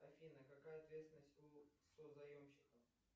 афина какая ответственность у созаемщика